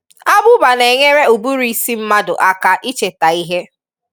Abụba n'enyere ụbụrụ isi mmadụ aka icheta ihe.